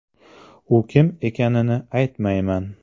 – U kim ekanini aytmayman!